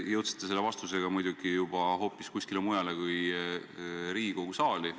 Te jõudsite selle vastusega hoopis kuskile mujale kui Riigikogu saali.